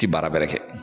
Ti baara bɛrɛ kɛ